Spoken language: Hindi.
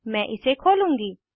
मैं इसे खोलूंगी